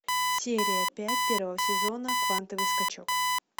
серия пять первого сезона квантовый скачок